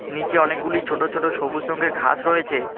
নিচে অনেকগুলি ছোটো ছোটো সবুজ রংগের ঘাস রয়েছে।